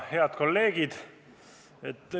Head kolleegid!